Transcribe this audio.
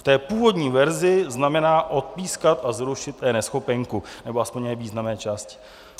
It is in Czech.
V té původní verzi znamená odpískat a zrušit eNeschopenku, nebo aspoň její významné části.